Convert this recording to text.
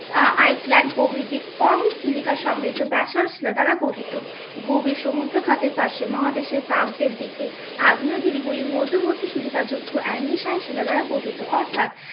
আহ iceland প্রভৃতি কম silica সমৃদ্ধ ব্যাসল্ট শিলা দ্বারা গঠিত। গভীর সমুদ্রখাতের পাশে মহাদেশের প্রান্তের দিকে আগ্নেয়গিরি গুলি মধ্যবর্তী সিলিকা যুক্ত শিলা দ্বারা গঠিত অর্থাৎ